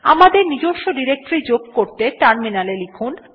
আমাদের নিজস্ব ডিরেক্টরী যোগ করতে টার্মিনালে লিখুন